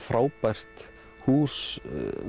frábært hús